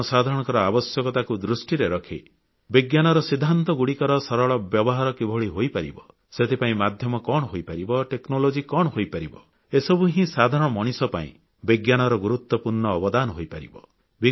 ଜନସାଧାରଣଙ୍କ ଆବଶ୍ୟକତାକୁ ଦୃଷ୍ଟିରେ ରଖି ବିଜ୍ଞାନର ସିଦ୍ଧାନ୍ତଗୁଡ଼ିକର ସରଳ ବ୍ୟବହାର କିଭଳି ହୋଇପାରିବ ସେଥିପାଇଁ ମାଧ୍ୟମ କଣ ହୋଇପାରିବ ପ୍ରଯୁକ୍ତି ବିଦ୍ୟା କଣ ହୋଇପାରିବ ଏସବୁ ହିଁ ସାଧାରଣ ମଣିଷ ପାଇଁ ବିଜ୍ଞାନର ଗୁରୁତ୍ୱପୂର୍ଣ୍ଣ ଅବଦାନ ହୋଇପାରିବ